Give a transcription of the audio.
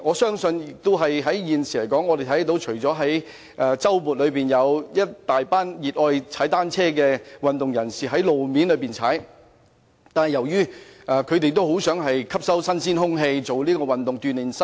目前，我們看到在周末有一大群熱愛踏單車的運動人士在路面踏單車，而他們其實也很想呼吸新鮮空氣，透過運動鍛鍊身體。